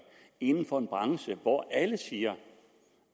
inden for en branche hvor alle siger